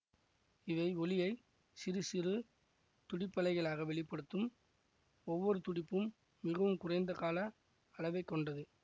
இவை ஒலியைச் சிறுசிறு துடிப்பலைகளாக வெளி படுத்தும் ஒவ்வொரு துடிப்பும் மிகவும் குறைந்த கால அளவை கொண்டது